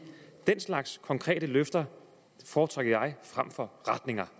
den slags konkrete løfter foretrækker jeg frem for retninger